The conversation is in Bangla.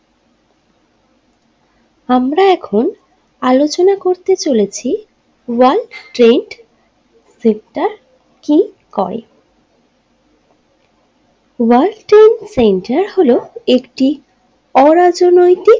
আমরা এখন আলোচনা করতে চলেছি ওয়ার্ল্ড ট্রেড সেন্টার ইন কল ওয়ার্ল্ড ট্রেড সেন্টার হলো একটি অরাজনৈতিক।